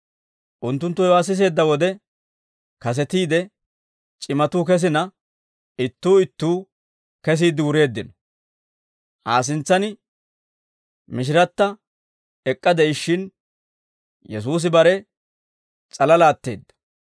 Unttunttu hewaa siseedda wode, kasetiide c'imatuu kesina, ittuu ittuu kesiidde wureeddino; Aa sintsaan mishiratta ek'k'a de'ishshin, Yesuusi bare s'alalaa atteedda.